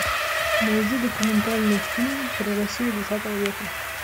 найди документальный фильм про россию двадцатого века